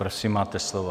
Prosím, máte slovo.